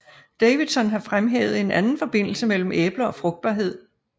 Davidson har fremhævet en anden forbindelse mellem æbler og frugtbarhed